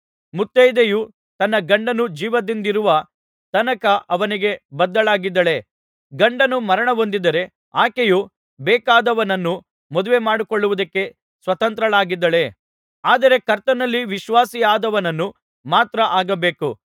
ಮುತೈದೆಯು ತನ್ನ ಗಂಡನು ಜೀವದಿಂದಿರುವ ತನಕ ಅವನಿಗೆ ಬದ್ಧಳಾಗಿದ್ದಾಳೆ ಗಂಡನು ಮರಣಹೊಂದಿದ್ದರೆ ಆಕೆಯು ಬೇಕಾದವನನ್ನು ಮದುವೆಮಾಡಿಕೊಳ್ಳುವುದಕ್ಕೆ ಸ್ವತಂತ್ರಳಾಗಿದ್ದಾಳೆ ಆದರೆ ಕರ್ತನಲ್ಲಿ ವಿಶ್ವಾಸಿಯಾದವನನ್ನು ಮಾತ್ರ ಆಗಬೇಕು